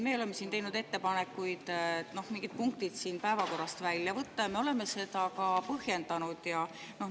Me oleme teinud ettepanekuid mingid punktid päevakorrast välja võtta ja me oleme seda ka põhjendanud.